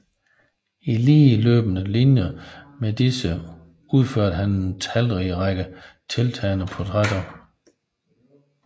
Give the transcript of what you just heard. I ligeløbende linje med disse udførte han en talrig række tiltalende portrætter